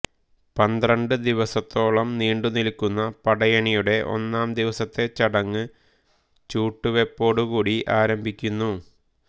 പന്ത്രണ്ട് ദിവസത്തോളം നീണ്ടു നിൽക്കുന്ന പടയണിയുടെ ഒന്നാം ദിവസത്തെ ചടങ്ങ് ചൂട്ടുവെപ്പോടുകൂടി ആരംഭിക്കുന്നു